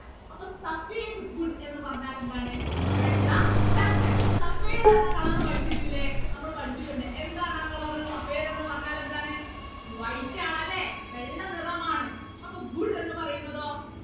അപ്പൊ എന്ന് പറഞ്ഞാൽ എന്താണ് വെള്ള ശർക്കര എന്ന color പഠിച്ചിട്ടില്ലേ നമ്മൾ പഠിച്ചിട്ടുണ്ട് എന്താണ് ആ color എന്ന് പറഞ്ഞാൽ എന്താണ് white ആണ് അല്ലെ വെള്ള നിറമാണ് അപ്പൊ എന്ന് പറയുന്നതോ